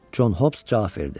Con Hobs cavab verdi.